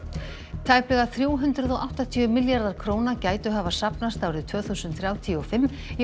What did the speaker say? tæplega þrjú hundruð og áttatíu milljarðar króna gætu hafa safnast árið tvö þúsund þrjátíu og fimm í